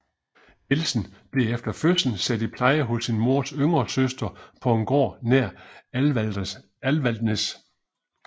Nielsen blev efter fødslen sat i pleje hos sin mors yngre søster på en gård nær Alvaldsnes